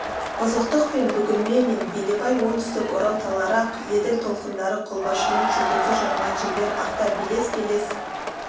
бұзықтық пен бүгілме мен белебай оңтүстік орал таулары ақ еділ толқындары қолбасшының жұлдызы жанған жерлер артта белес-белес